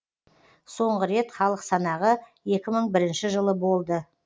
соңғы рет халық санағы екі мың бірінші жылы болды